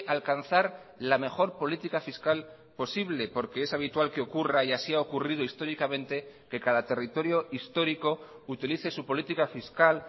alcanzar la mejor política fiscal posible porque es habitual que ocurra y así ha ocurrido históricamente que cada territorio histórico utilice su política fiscal